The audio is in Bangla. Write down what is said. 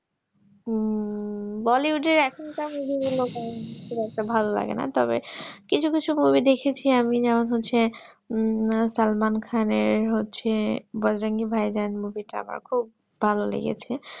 হম bollywood এর এখুন কার movie গুলো ভালো লাগে না তবে কিছু কিছু movie আমি দেখেছি যেমন হচ্ছে উম SalmanKhan এর হচ্ছে bajrangi bhaijaan টা আমার খুব ভালো লেগেছে